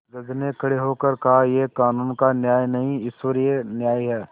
जज ने खड़े होकर कहायह कानून का न्याय नहीं ईश्वरीय न्याय है